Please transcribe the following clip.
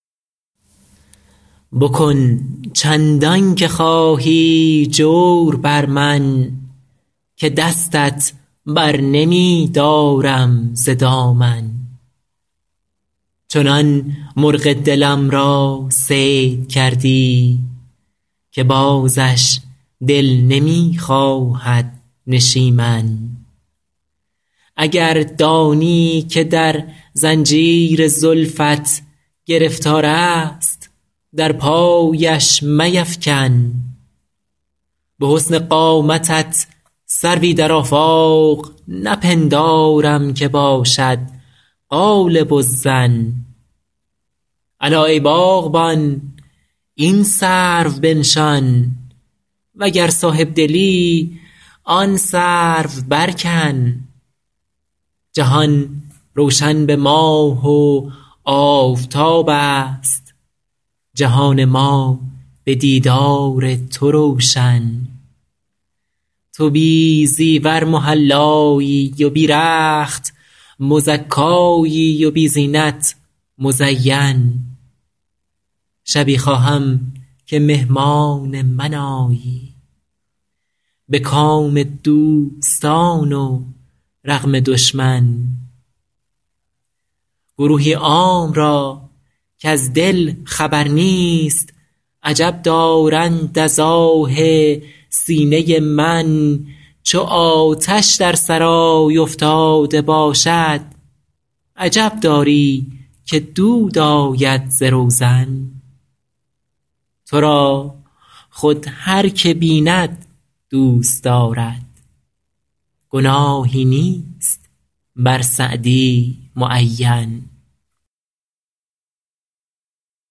بکن چندان که خواهی جور بر من که دستت بر نمی دارم ز دامن چنان مرغ دلم را صید کردی که بازش دل نمی خواهد نشیمن اگر دانی که در زنجیر زلفت گرفتار است در پایش میفکن به حسن قامتت سروی در آفاق نپندارم که باشد غالب الظن الا ای باغبان این سرو بنشان و گر صاحب دلی آن سرو برکن جهان روشن به ماه و آفتاب است جهان ما به دیدار تو روشن تو بی زیور محلایی و بی رخت مزکایی و بی زینت مزین شبی خواهم که مهمان من آیی به کام دوستان و رغم دشمن گروهی عام را کز دل خبر نیست عجب دارند از آه سینه من چو آتش در سرای افتاده باشد عجب داری که دود آید ز روزن تو را خود هر که بیند دوست دارد گناهی نیست بر سعدی معین